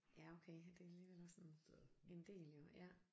Ja okay det alligevel også en en del jo ja